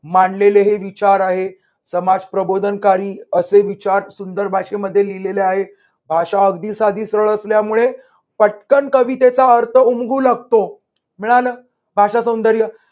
मांडलेले विचार आहेत समाज प्रबोधनकारी असे विचार सुंदर भाषेमध्ये लिहिलेले आहेत. भाषा अगदी साधी, सरळ असल्यामुळे पटकन कवितेचा अर्थ उमगू लागतो. मिळालं भाषासौंदर्य